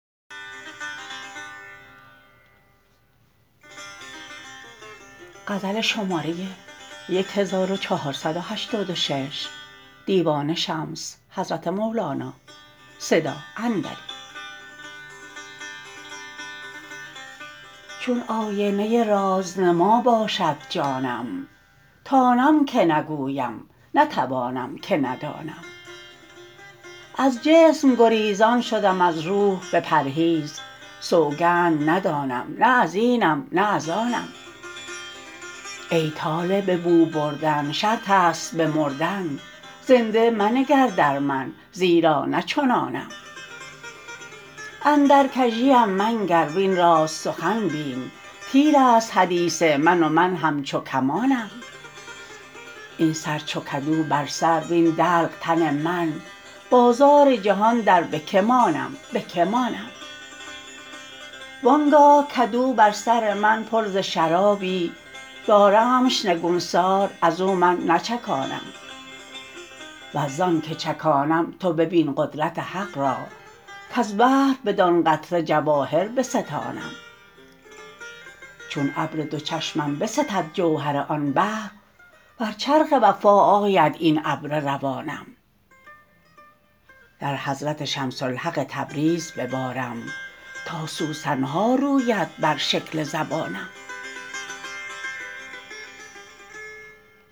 چون آینه رازنما باشد جانم تانم که نگویم نتوانم که ندانم از جسم گریزان شدم از روح بپرهیز سوگند ندانم نه از اینم نه از آنم ای طالب بو بردن شرط است به مردن زنده منگر در من زیرا نه چنانم اندر کژیم منگر وین راست سخن بین تیر است حدیث من و من همچو کمانم این سر چو کدو بر سر وین دلق تن من بازار جهان در به کی مانم به کی مانم وان گاه کدو بر سر من پر ز شرابی دارمش نگوسار از او من نچکانم ور زان که چکانم تو ببین قدرت حق را کز بحر بدان قطره جواهر بستانم چون ابر دو چشمم بستد جوهر آن بحر بر چرخ وفا آید این ابر روانم در حضرت شمس الحق تبریز ببارم تا سوسن ها روید بر شکل زبانم